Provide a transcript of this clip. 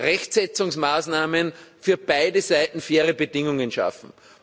den Rechtsetzungsmaßnahmen für beide Seiten faire Bedingungen schaffen.